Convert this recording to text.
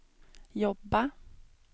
jobba